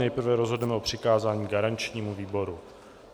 Nejprve rozhodneme o přikázání garančnímu výboru.